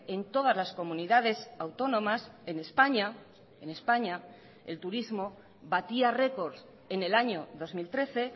en todas las comunidades autónomas en españa en españa el turismo batía récords en el año dos mil trece